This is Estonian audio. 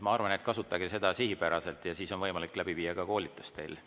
Ma arvan, et kasutage seda sihipäraselt ja siis on teil võimalik selle raames ka koolitus läbi viia.